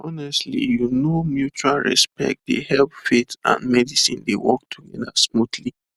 honestly you know mutual respect dey help faith and medicine dey work together smoothly